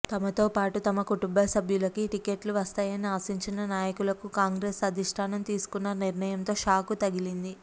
తమతో పాటు తమ కుటుంబ సభ్యులకి టికెట్లు వస్తాయని ఆశించిన నాయకులకు కాంగ్రెస్ అధిష్టానం తీసుకున్న నిర్ణయంతో షాక్ తగిలింది